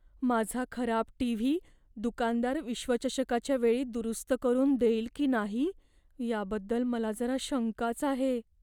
माझा खराब टीव्ही दुकानदार विश्वचषकाच्या वेळी दुरुस्त करून देईल की नाही याबद्दल मला जरा शंकाच आहे.